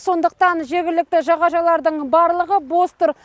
сондықтан жергілікті жағажайлардың барлығы бос тұр